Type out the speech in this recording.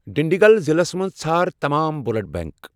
ڈِنٛڈیٖگُل ضلعس مَنٛز ژھار تمام بلڈ بینک۔